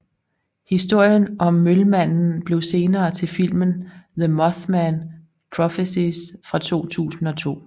Historien om Mølmanden blev senere til filmen The Mothman Prophecies fra 2002